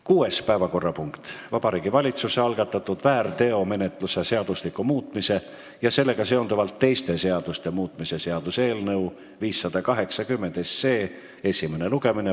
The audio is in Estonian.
Kuues päevakorrapunkt: Vabariigi Valitsuse algatatud väärteomenetluse seadustiku muutmise ja sellega seonduvalt teiste seaduste muutmise seaduse eelnõu 580 esimene lugemine.